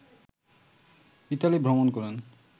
Italy ভ্রমণ করেন